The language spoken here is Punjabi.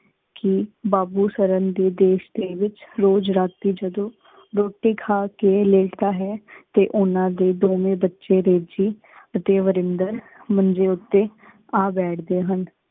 ਕੇ ਬਾਬੂ ਸਰਨ ਦੇ ਦੇਸ਼ ਦੇ ਵਿਚ ਰੋਜ਼ ਰਾਤੀ ਜਦੋ ਰੋਟੀ ਖਾ ਕੇ ਲੇਟਦਾ ਹੈ ਤੇ ਓਨਾ ਦੇ ਦੋਵੇ ਬੱਚੇ ਤੇ ਵਰਿੰਦਰ ਮੰਜੇ ਉਤੇ ਆ ਬੈਠਦੇ ਹਨ।